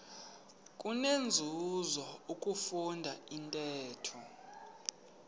kunenzuzo ukufunda intetho